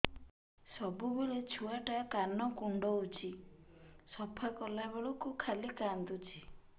ସବୁବେଳେ ଛୁଆ ଟା କାନ କୁଣ୍ଡଉଚି ସଫା କଲା ବେଳକୁ ଖାଲି କାନ୍ଦୁଚି